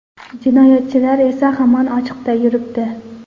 Jinoyatchilar esa hamon ochiqda yuribdi.